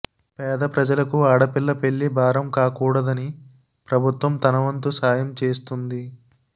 పేద ప్రజలకు ఆడపిల్ల పెళ్లి భారం కాకుడదని ప్రభుత్వం తన వంతు సహాయం చేస్తుంది